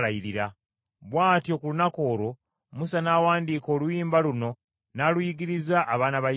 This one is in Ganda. Bw’atyo, ku lunaku olwo, Musa n’awandiika oluyimba luno n’aluyigiriza abaana ba Isirayiri.